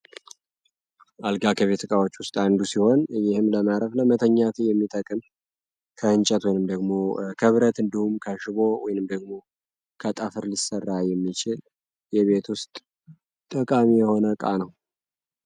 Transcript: አልጋ ከቤትጥቃዎች ውስጥ አንዱ ሲሆን እይህም ለማረፍለ መተኛቱ የሚጠቅም ከህንጨት ወንም ደግሞ ከብረት እንድሁም ካሽቦ ወይንም ደግሞ ከጠፍር ሊሰራ የሚችል የቤት ውስጥ ጠቃሚ የሆነ ቃ ነው